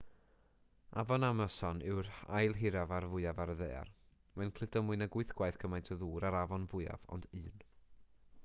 afon amason yw'r ail hiraf a'r fwyaf ar y ddaear mae'n cludo mwy nag 8 gwaith cymaint o ddŵr â'r afon fwyaf ond un